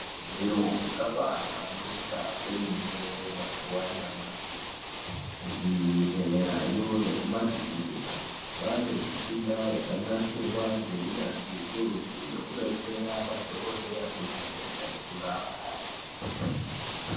Zviro zvabaahlamburika kwemene mazuwa anyamashi kuzvibhedhlerayo nekumakirinika kwaane mishina yakanasirwa ngeunyanzvi hukurutu yekudetsera madhokodheya kuvheneka nekurapa.